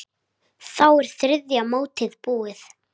Þá er þriðja mótið búið.